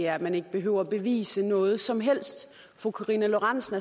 at man ikke behøvede at bevise noget som helst fru karina lorentzen